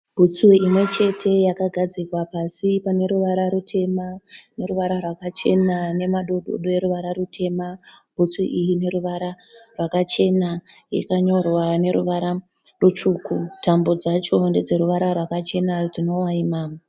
Bhutsu imwechete yakagadzikwa pasi paneruvara rwutema neruvara rwakachena nemadododo eruvara rutema. Bhutsu iyi ineruvara rwakachena yakanyorwa neruvara rutsvuku. Tambo dzacho ndedzeruvara rwakachena rwunovaima.